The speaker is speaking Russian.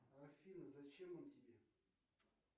афина зачем он тебе